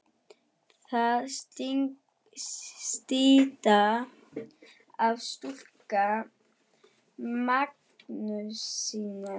Þar er stytta af Skúla Magnússyni.